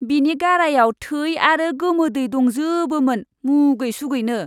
बिनि गारायाव थै आरो गोमोदै दंजोबोमोन मुगै सुगैनो।